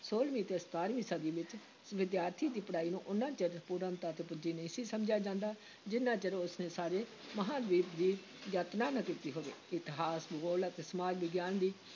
ਛੋਲਵੀਂ ਅਤੇ ਸਤਾਰਵੀਂ ਸਦੀ ਵਿੱਚ ਵਿਦਿਆਰਥੀ ਦੀ ਪੜ੍ਹਾਈ ਨੂੰ ਓਨਾ ਚਿਰ ਪੂਰਨਤਾ ‘ਤੇ ਪੁੱਜੀ ਨਹੀਂ ਸੀ ਸਮਝਿਆ ਜਾਂਦਾ, ਜਿੰਨਾ ਚਿਰ ਉਸ ਨੇ ਸਾਰੇ ਮਹਾਂਦੀਪ ਦੀ ਯਾਤਰਾ ਨਾ ਕੀਤੀ ਹੋਵੇ, ਇਤਿਹਾਸ, ਭੂਗੋਲ ਅਤੇ ਸਮਾਜ ਵਿਗਿਆਨ ਦੀ